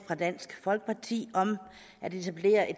fra dansk folkeparti om at etablere et